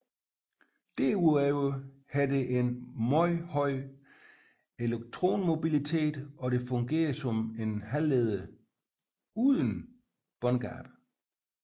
Desuden har det en meget høj elektronmobilitet og det fungerer som en halvleder uden båndgab